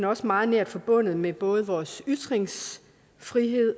også meget nært forbundet med både vores ytringsfrihed